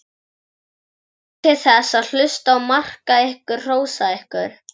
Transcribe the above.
Njótið þess að hlusta á maka ykkar hrósa ykkur.